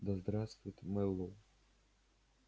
да здравствует мэллоу